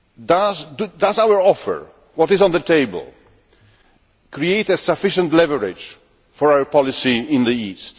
Does our offer, what is on the table, create sufficient leverage for our policy in the East?